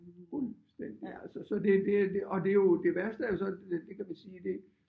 Fuldstændig altså så det det og det jo det værste er jo så det kan vi sige det